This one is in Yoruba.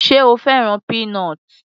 Sé o fẹ́ràn peanut l?